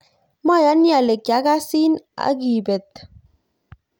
mayani ale kiakasin aki beto